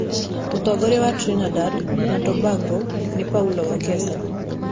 Mũtongoria wa Trinidad na Tobago nĩ Paula Wekesa.